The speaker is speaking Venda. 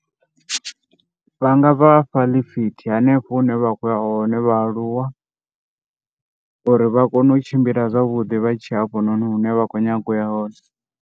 Vhanga vhafha ḽifithi henefho hune vha khoya hone vhaaluwa, uri vha kone u tshimbila zwavhuḓi vha tshiya hanefho hune vha kho nyaga u ya hone.